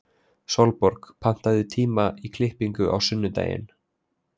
Sólborg, pantaðu tíma í klippingu á sunnudaginn.